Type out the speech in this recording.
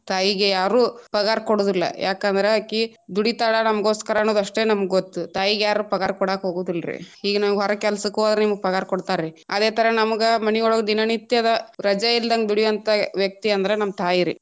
ತಾಯಿಗೆ ಯಾರು ಪಗಾರ ಕೊಡುದಿಲ್ಲಾ ಯಾಕಂದ್ರ ಅಕಿ ದುಡಿತಾಳ ನಮಗೋಸ್ಕರನ್ನೊದು ಅಷ್ಟೇ ನಮ್ಗ ಗೊತ್ತು ತಾಯಿಗೆ ಯಾರು ಪಗಾರ ಕೊಡಾಕ ಹೋಗುದಿಲ್ರಿ ಈಗ ನಾವು ಹೊರಗ್ ಕೆಲಸಕ್ಕ ಹೋದ್ರ ನಿಮ್ಗ್ ಪಗಾರ ಕೊಡ್ತಾರ ರೀ ಆದೆ ತರಾ ನಮ್ಗ ದಿನನಿತ್ಯದ ರಜೆ ಇಲ್ಲದಂಗ ದುಡಿಯುವಂತ ವ್ಯಕ್ತಿ ಅಂದ್ರ ನಮ್ಮ ತಾಯಿ ರೀ.